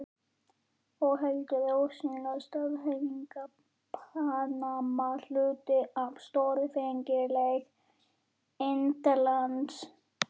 Og heldur ósennileg staðhæfing: PANAMA HLUTI AF STÓRFENGLEIK INDLANDS.